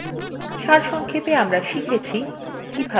সারসংক্ষেপে আমরা শিখেছি কিভাবে: